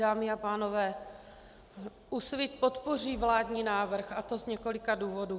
Dámy a pánové, Úsvit podpoří vládní návrh, a to z několika důvodů.